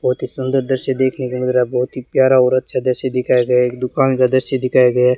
बहुत ही सुंदर दृश्य देखने को लग रहा बहुत ही प्यारा और अच्छा दृश्य दिखाया गया है एक दुकान का दृश्य दिखाए गया है।